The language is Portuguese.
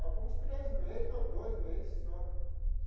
Vai para uns três mês ou dois mês só.